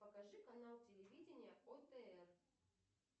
покажи канал телевидения отр